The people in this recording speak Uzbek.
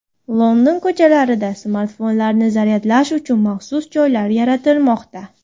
London ko‘chalarida smartfonlarni zaryadlash uchun maxsus joylar yaratilmoqda.